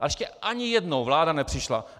Ale ještě ani jednou vláda nepřišla.